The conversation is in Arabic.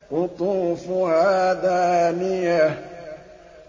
قُطُوفُهَا دَانِيَةٌ